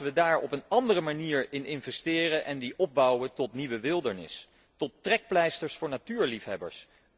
Laten wij daar op een andere manier in investeren en die opbouwen tot nieuwe wildernis, tot trekpleisters voor natuurliefhebbers.